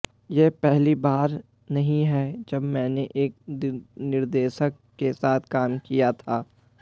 ये पहली बार नहीं है जब मैंने नए निर्देशक के साथ काम किया था